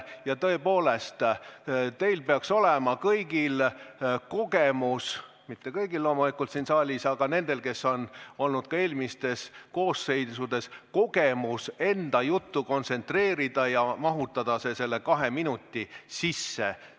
Ja tõepoolest, teil peaks olema kõigil kogemus – mitte kõigil, loomulikult, vaid nendel, kes on olnud ka eelmistes koosseisudes – enda juttu kontsentreerida ja mahutada see kahe minuti sisse.